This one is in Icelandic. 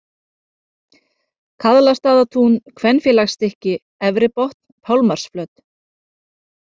Kaðlastaðatún, Kvenfélagsstykki, Efri Botn, Pálmarsflöt